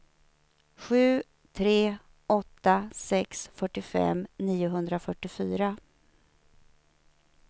sju tre åtta sex fyrtiofem niohundrafyrtiofyra